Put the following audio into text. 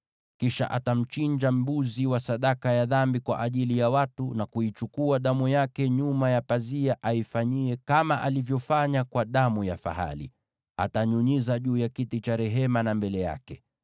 “Kisha atamchinja mbuzi wa sadaka ya dhambi kwa ajili ya watu, na kuichukua damu yake nyuma ya pazia, na aifanyie kama alivyofanya kwa damu ya fahali: Atanyunyiza juu ya kiti cha rehema na mbele yake.